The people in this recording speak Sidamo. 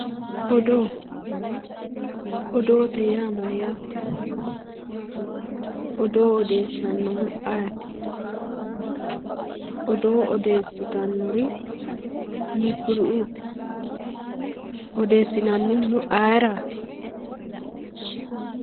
odoo odoote yaa mayyate odoo odeessannohu ayeti odoo oddeessitannori hiikkuriuti odeessinannihuno ayeraati